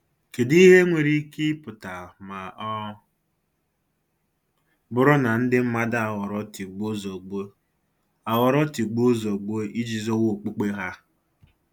Kedụ ihe nwere ike ịpụta ma ọ bụrụ na ndị mmadụ aghọrọ tigbuo-zọgbuo aghọrọ tigbuo-zọgbuo iji zọwa okpukpe ha?